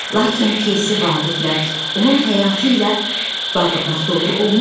Lakin pyesi Vaqiflə, onun həyatı ilə bağlamaq doğru olmaz.